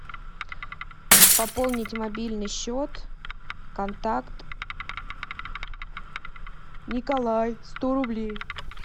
пополнить мобильный счет контакт николай сто рублей